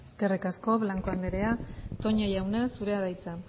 eskerrik asko blanco anderea toña jauna zurea da hitza